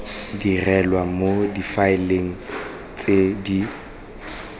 dirilwe mo difaeleng tse di